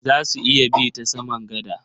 Za su iya bi ta saman gada.